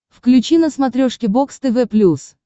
включи на смотрешке бокс тв плюс